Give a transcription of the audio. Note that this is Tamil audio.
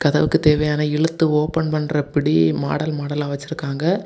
ஜன்னலுக்கு தேவையான இழுத்து ஓப்பன் பண்ற பிடி மாடல் மாடலா வச்சிருக்காங்க.